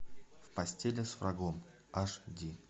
в постели с врагом аш ди